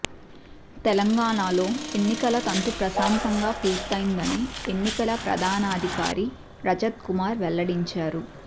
తెలంగాణాలో ఎన్నికల తంతు ప్రశాంతంగా పూర్తయ్యిందని ఎన్నికల ప్రధానాధికారి రజత్ కుమార్ వెల్లడించారు